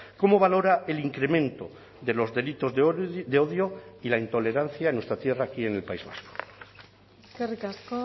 cómo valora el incremento de los delitos de odio y la intolerancia en nuestra tierra aquí en el país vasco eskerrik asko